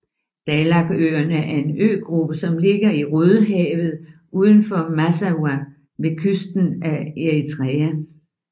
Dahlakøerne er en øgruppe som ligger i Rødehavet udenfor Massawa ved kysten af Eritrea